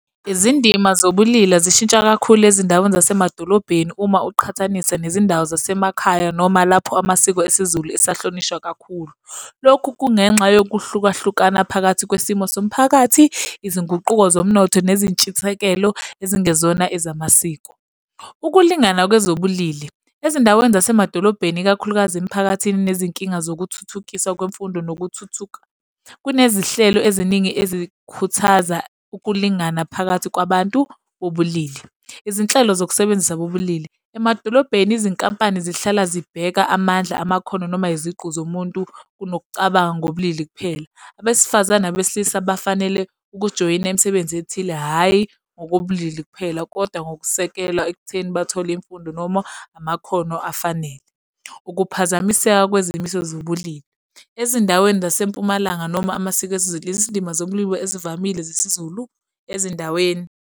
Izindima zobulili zishintsha kakhulu ezindaweni zasemadolobheni uma uqhathanisa nezindawo zasemakhaya noma lapho amasiko esiZulu esahlonishwa kakhulu. Lokhu kungenxa yokuhlukahlukana phakathi kwesimo somphakathi, izinguquko zomnotho nezintshisekelo ezingezona ezamasiko. Ukulingana kwezobulili. Ezindaweni zasemadolobheni ikakhulukazi emiphakathini nezinkinga zokuthuthukisa kwemfundo nokuthuthuka, kunezihlelo eziningi ezikhuthaza ukulingana phakathi kwabantu bobulili. Izinhlelo zokusebenzisa bobulili. Emadolobheni izinkampani zihlala zibheka amandla, amakhono, noma iziqu zomuntu nokucabanga ngobulili kuphela. Abesifazane nabesilisa bafanele ukujoyina imisebenzi ethile, hhayi ngokobulili kuphela, kodwa ngokusekelwa ekutheni bathole imfundo noma amakhono afanele. Ukuphazamiseka kwezimiso zobulili. Ezindaweni zasempumalanga noma amasiko esiZulu, izindima zobulili ezivamile zesiZulu ezindaweni.